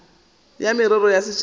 ya merero ya setšhaba e